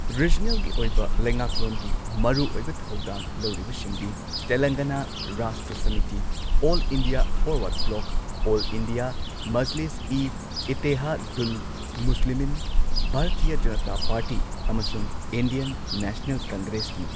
ꯔꯤꯖꯅꯦꯜꯒꯤ ꯑꯣꯏꯕ ꯂꯩꯉꯥꯛꯂꯣꯟꯒꯤ ꯃꯔꯨ ꯑꯣꯏꯕ ꯊꯧꯗꯥꯡ ꯂꯧꯔꯤꯕꯁꯤꯡꯗꯤ ꯇꯦꯂꯪꯒꯅꯥ Rashtra Samithi, all India forward bloc, all India Majlis e Ittehadul Muslimeen, Bharatiya Janata party ꯑꯃꯁꯨꯡ ꯏꯟꯗꯤꯌꯟ ꯅꯦꯁꯅꯦꯜ ꯀꯪꯒ꯭ꯔꯦꯁꯅꯤ꯫